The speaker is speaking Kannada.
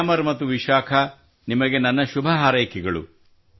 ಗ್ಯಾಮರ್ ಮತ್ತು ವಿಶಾಖಾ ನಿಮಗೆ ನನ್ನ ಶುಭಹಾರೈಕೆಗಳು